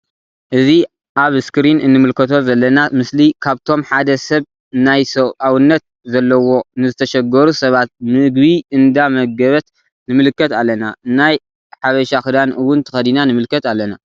አእዚ አብ እስክሪን እንምልከቶ ዘለና ምስሊ ካብቶም ሓደ ሰብ ናይ ሰብአውነት ዘለዎ ንዝተሸገሩ ሰባት ምግቢ እንዳ መገበት ንምልከት አለና::ናይ ሓበሻ ክዳን እውን ተከዲና ንምልከት አለና::